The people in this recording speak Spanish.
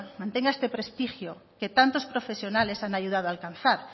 mantenga este prestigio que tantos profesionales han ayudado a alcanzar